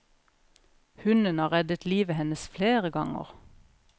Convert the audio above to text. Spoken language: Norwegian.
Hunden har reddet livet hennes flere ganger.